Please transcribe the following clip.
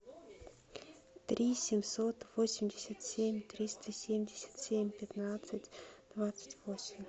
три семьсот восемьдесят семь триста семьдесят семь пятнадцать двадцать восемь